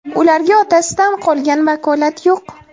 Ularga otasidan qolgan vakolat yo‘q.